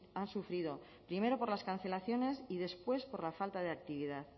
han sufrido primero por las cancelaciones y después por la falta de actividad